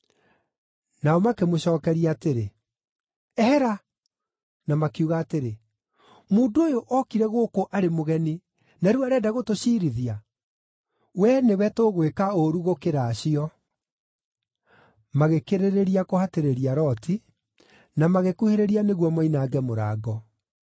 Nao makĩmũcookeria atĩrĩ, “Ehera.” Na makiuga atĩrĩ, “Mũndũ ũyũ ookire gũkũ arĩ mũgeni, na rĩu arenda gũtũciirithia! Wee nĩwe tũgwĩka ũũru gũkĩra acio!” Magĩkĩrĩrĩria kũhatĩrĩria Loti, na magĩkuhĩrĩria nĩguo moinange mũrango.